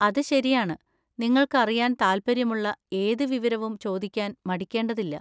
അത് ശരിയാണ്, നിങ്ങൾക്ക് അറിയാൻ താൽപ്പര്യമുള്ള ഏത് വിവരവും ചോദിക്കാൻ മടിക്കേണ്ടതില്ല.